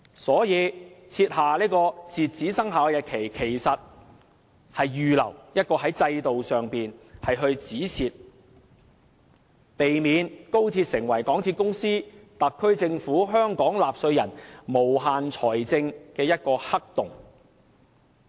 所以，設下截止生效日期，其實只是預留一個"止蝕"制度，避免高鐵成為港鐵公司、特區政府和香港納稅人的無限財政黑洞。